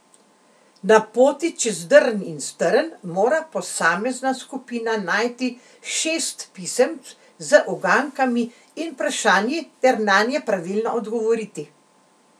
Na poti čez drn in strn mora posamezna skupina najti šest pisemc z ugankami in vprašanji ter nanje pravilno odgovoriti.